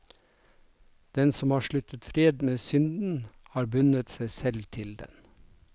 Den som har sluttet fred med synden, har bundet seg selv til den.